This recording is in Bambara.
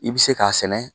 I bɛ se k'a sɛnɛ